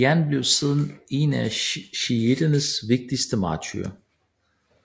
Husayn blev siden en af shiitternes vigtigste martyrer